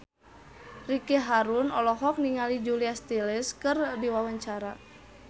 Ricky Harun olohok ningali Julia Stiles keur diwawancara